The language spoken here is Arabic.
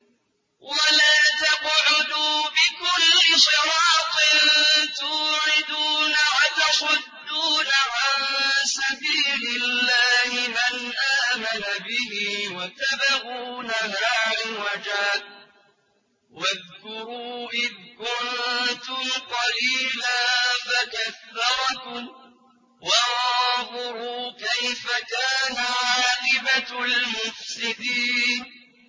وَلَا تَقْعُدُوا بِكُلِّ صِرَاطٍ تُوعِدُونَ وَتَصُدُّونَ عَن سَبِيلِ اللَّهِ مَنْ آمَنَ بِهِ وَتَبْغُونَهَا عِوَجًا ۚ وَاذْكُرُوا إِذْ كُنتُمْ قَلِيلًا فَكَثَّرَكُمْ ۖ وَانظُرُوا كَيْفَ كَانَ عَاقِبَةُ الْمُفْسِدِينَ